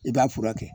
I b'a furakɛ